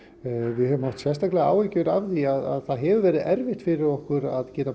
við höfum haft sérstaklega áhyggjur af því að það hefur verið erfitt fyrir okkur að